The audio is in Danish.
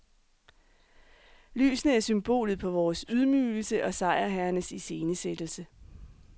Lysene er symbolet på vores ydmygelse og sejrherrenes iscenesættelse.